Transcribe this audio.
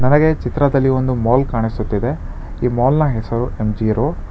ನನಗೆ ಈ ಚಿತ್ರದಲ್ಲಿ ಒಂದು ಮಾಲ್ ಕಾಣಿಸುತ್ತಿದೆ ಈ ಮಾಲ್ನ ಹೆಸರು ಎಂ_ಜಿ ರೋಡ್ .